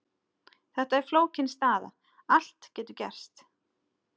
Þetta er flókin staða, allt getur gerst.